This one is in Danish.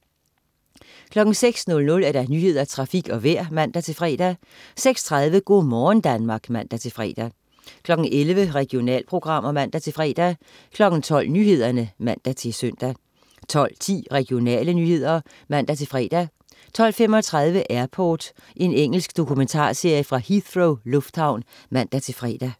06.00 Nyhederne, Trafik og Vejret (man-fre) 06.30 Go' morgen Danmark (man-fre) 11.00 Regionalprogrammer (man-fre) 12.00 Nyhederne (man-søn) 12.10 Regionale nyheder (man-fre) 12.35 Airport. Engelsk dokumentarserie fra Heathrow lufthavn (man-fre)